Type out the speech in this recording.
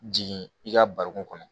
Jigin i ka bari kɔnɔ